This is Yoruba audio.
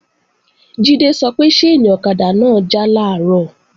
Jídé sọ pé ṣáìnì ọ̀kadà náà já làárọ̀